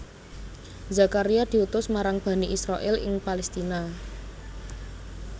Zakaria diutus marang Bani Israil ing Palestina